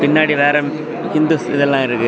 பின்னாடி வேர ஹிந்துஸ் இதெல்லா இருக்கு.